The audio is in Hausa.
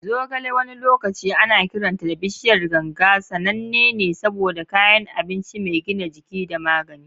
Zogale, wani lokaci ana kiranta da "bishiyar ganga," sananne ne saboda kayan abinci mai gina jiki da magani.